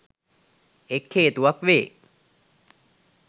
එක් හේතුවක් වේ.